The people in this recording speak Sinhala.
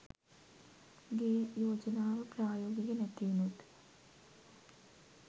ගේ යෝජනාව ප්‍රායෝගික නැති උනොත්